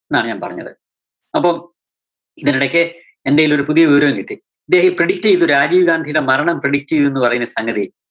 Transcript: ന്നാണു ഞാൻ പറഞ്ഞത്. അപ്പം ഇതിനിടയ്ക്ക് എന്തേലുമൊരു പുതിയ വിവരം കിട്ടി. ഇദ്ദേഹം predict ചെയ്‌തു. രാജീവ് ഗാന്ധിടെ മരണം predict ഐയ്‌തു എന്നു പറയുന്നൊരു സംഗതി.